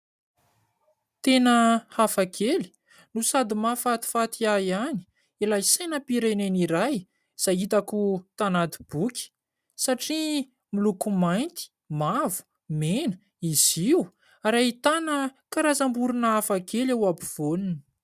Tena hafakely no sady mahafatifaty ahy ihany ilay sainam-pirenena iray izay hitako tanaty boky satria miloko mainty, mavo, mena izy io ary ahitana karazam-borona hafakely eo ampovoany.